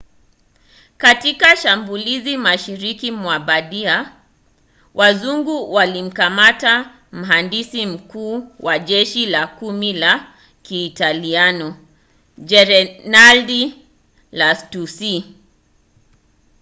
katika shambulizi mashariki mwa bardia wazungu walimkamata mhandisi mkuu wa jeshi la kumi la kiitaliano jenerali lastucci